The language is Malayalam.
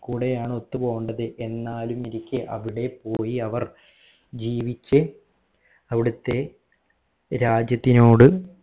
കൂടെ ആണ് ഒത്തുപോകേണ്ടത് എന്നാലും ഇരിക്കെ അവിടെ പോയി അവർ ജീവിച് അവിടിത്തെ രാജ്യത്തിനോട്